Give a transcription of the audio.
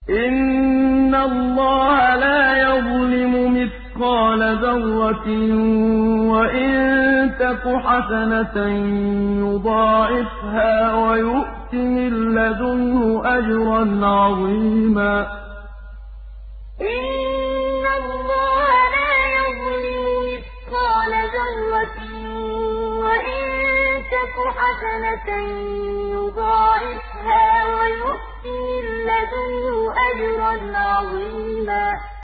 إِنَّ اللَّهَ لَا يَظْلِمُ مِثْقَالَ ذَرَّةٍ ۖ وَإِن تَكُ حَسَنَةً يُضَاعِفْهَا وَيُؤْتِ مِن لَّدُنْهُ أَجْرًا عَظِيمًا إِنَّ اللَّهَ لَا يَظْلِمُ مِثْقَالَ ذَرَّةٍ ۖ وَإِن تَكُ حَسَنَةً يُضَاعِفْهَا وَيُؤْتِ مِن لَّدُنْهُ أَجْرًا عَظِيمًا